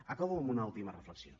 acabo amb una última reflexió